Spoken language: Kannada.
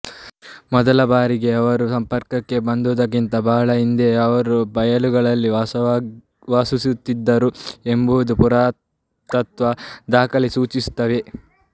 ಮೊದಲಬಾರಿಗೆ ಅವರು ಸಂಪರ್ಕಕ್ಕೆ ಬಂದುದಕ್ಕಿಂತ ಬಹಳ ಹಿಂದೆಯೇ ಅವರು ಬಯಲುಗಳಲ್ಲಿ ವಾಸಿಸುತ್ತಿದ್ದರು ಎಂಬುದನ್ನು ಪುರಾತತ್ವ ದಾಖಲೆಗಳು ಸೂಚಿಸುತ್ತವೆ